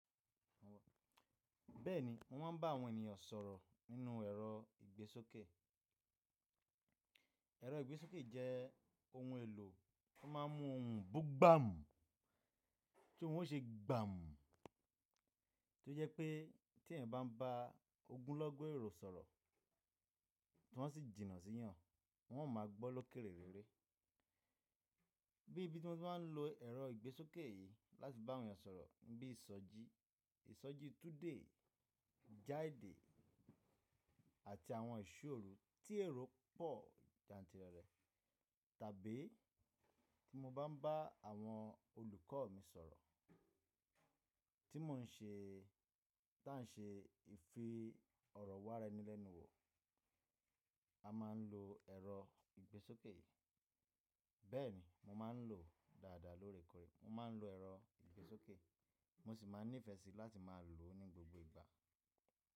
Bẹ́ẹ̀ni, mo máa ń bá àwọn ènìyàn sọ̀rọ̀ nínú ẹ̀rọ ìgbésókè. Ẹ̀rọ ìgbésókè jẹ́ ohun èlò tó máa ń mú ohùn bú gbàmú tí wọn o ṣe gbàmú, tó jẹ́ pé tí ẹ̀yàn bá ń bá ogunlọ́gọ̀ èrò sọ̀rọ̀ tí wọn sì jìnnà sí yàn, wọn ò máa gbọ́ lọ́kèrérére. Bí ibi tí wọn ti máa ń lo ẹ̀rọ ìgbésókè yìí láti bá àwọn èèyàn sọ̀rọ̀ bí i ìsọjí, ìsọjí túúde, Jaade àti àwọn ìṣóòru tí èrò pọ̀ jantìrẹrẹ tàbí tí mo bá ń bá àwọn olùkọ́ mi sọ̀rọ̀ tí mò ń ṣe tá ń ṣe ìfi ọ̀rọ̀ wa ara ẹni lẹ́nu wò, a máa ń lo ẹ̀rọ ìgbésókè yìí. Bẹ́ẹ̀ni, mo máa ń lò ó dáadáa lóòrèkòrè. Mo máa ń lo ẹ̀rọ ìgbésókè, mo sì máa nífẹ̀ẹ́ síi láti máa lò ó ní gbogbo ìgbà.